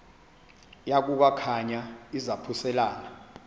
yaku khankanya izaphuselana